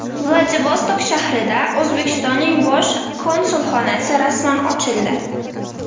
Vladivostok shahrida O‘zbekistonning bosh konsulxonasi rasman ochildi.